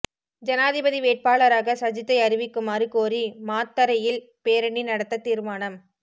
ஜனாதிபதி வேட்பாளராக சஜித்தை அறிவிக்குமாறு கோரி மாத்தறையில் பேரணி நடத்த தீர்மானம்